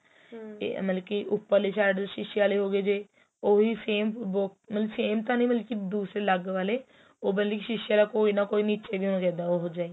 ਤੇ ਮਤਲਬ ਕੀ ਉੱਪਰਲੀ side ਸ਼ੀਸੇ ਆਲੇ ਹੋਗੇ ਜ਼ੇ ਉਹ ਵੀ same ਮਤਲਬ same ਤਾ ਨਹੀ ਦੂਸਰੇ ਅਲੱਗ ਵਾਲੇ ਉਹ ਬਲਕਿ ਸ਼ੀਸੇ ਵਾਲਾ ਕੋਈ ਨਾ ਕੋਈ ਨੀਚੇ ਵੀ ਹੋਣਾ ਚਾਹੀਦਾ ਉਹ ਜਿਹਾ ਵੀ